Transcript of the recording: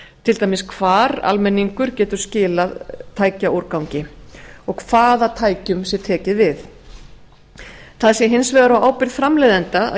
til dæmis hvar almenningur getur skilað tækjaúrgangi og hvaða tækjum sé tekið við það sé hins vegar á ábyrgð framleiðenda að